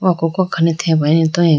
okoko akhane theba ane toyiga.